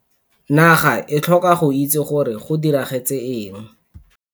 Naga e tlhoka go itse gore go diragetse eng.